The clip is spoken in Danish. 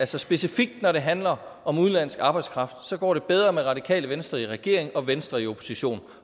specifikt når det handler om udenlandsk arbejdskraft går bedre med radikale venstre i regering og venstre i opposition